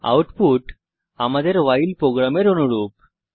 output আমাদের ভাইল প্রোগ্রামের অনুরূপ